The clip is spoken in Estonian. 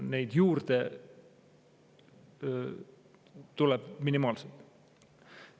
Neid juurde tuleb minimaalselt.